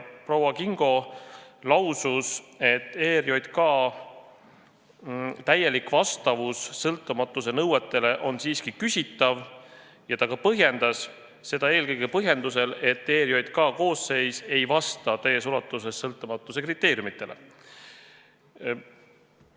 Proua Kingo lausus, et ERJK täielik vastavus sõltumatuse nõuetele on siiski küsitav, ja ta ka põhjendas: seda eelkõige põhjusel, et ERJK koosseis ei vasta täies ulatuses sõltumatuse kriteeriumidele.